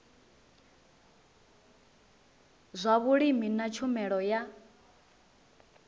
zwa vhulimi na tshumelo ya